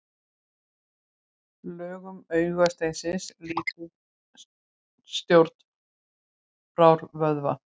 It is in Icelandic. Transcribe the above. Lögun augasteinsins lýtur stjórn brárvöðva.